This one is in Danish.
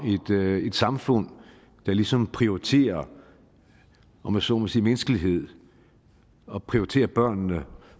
et samfund der ligesom prioriterer om jeg så må sige menneskelighed og prioriterer børnene